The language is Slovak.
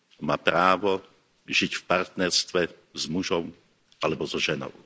má právo žiť v partnerstve s mužom alebo so ženou.